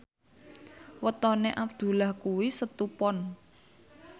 wetone Abdullah kuwi Setu Pon